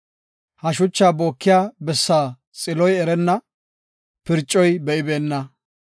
He shuchaa bookiya bessa xiloy erenna; phircoyka be7ibeenna.